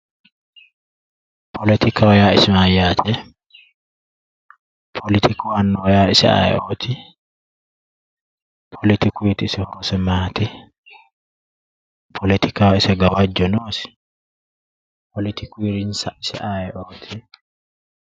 Politikaho yaa mayate, politiku annuwa isi ayeeoti ,politikuti isi horosi maati, politikaho isi gawajo noosi, politikuri insa ayeeoti.